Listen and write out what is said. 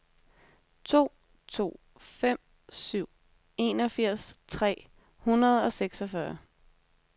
to to fem syv enogfirs tre hundrede og seksogfyrre